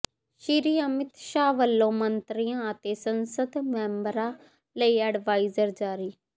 ਸ੍ਰੀ ਅਮਿਤ ਸ਼ਾਹ ਵੱਲੋਂ ਮੰਤਰੀਆਂ ਅਤੇ ਸੰਸਦ ਮੈਂਬਰਾਂ ਲਈ ਐਡਵਾਇਜ਼ਰੀ ਜਾਰੀ